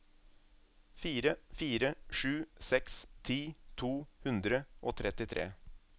fire fire sju seks ti to hundre og trettitre